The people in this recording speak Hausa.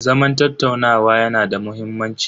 Zaman tattaunawa yanada muhimmanci.